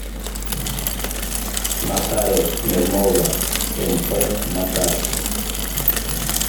нотариус смирнова мп на карте